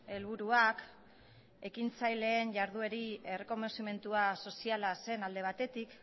helburuak ekintzaileen jarduerei errekonozimentu soziala zen alde batetik